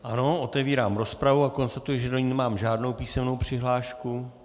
Ano, otevírám rozpravu a konstatuji, že do ní nemám žádnou písemnou přihlášku.